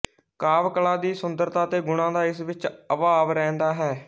ਕਾਵਿ ਕਲਾ ਦੀ ਸੁੰਦਰਤਾ ਅਤੇ ਗੁਣਾ ਦਾ ਇਸ ਵਿਚ ਅਭਾਵ ਰਹਿੰਦਾ ਹੈ